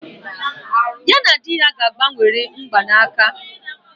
Ya na di ya ga-agbanworị mgbanaka